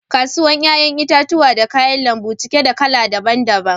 Kasuwan yayan itatuwan da kayan lambu cike da kala daban -daban.